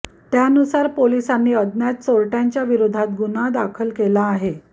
त्यानुसार पोलिसांनी अज्ञात चोरट्यांच्या विरोधात गुन्हा दाखल केला आहे